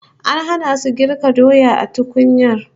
An hana su girka doya a tukunyar